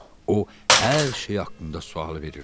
O hər şey haqqında sual verirdi.